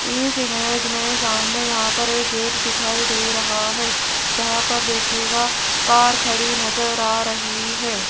इस इमेज में सामने यहां पर एक गेट दिखाई दे रहा है जहां पर देखिएगा कार खड़ी नजर आ रही है।